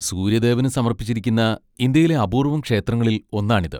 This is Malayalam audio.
സൂര്യദേവന് സമർപ്പിച്ചിരിക്കുന്ന ഇന്ത്യയിലെ അപൂർവ്വം ക്ഷേത്രങ്ങളിൽ ഒന്നാണിത്.